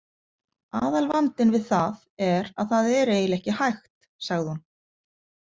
Aðalvandinn við það er að það er eiginlega ekki hægt, sagði hún.